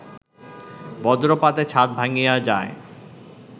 বজ্রপাতে ছাদ ভাঙ্গিয়া যায়